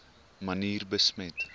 manier besmet